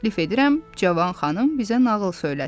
Təklif edirəm, cavan xanım bizə nağıl söyləsin.